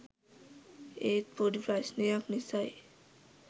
ඒත් පොඩි ප්‍රශ්ණයක් නිසයි